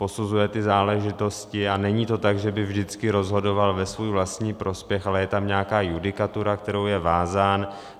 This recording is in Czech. Posuzuje ty záležitosti, a není to tak, že by vždycky rozhodoval ve svůj vlastní prospěch, ale je tam nějaká judikatura, kterou je vázán.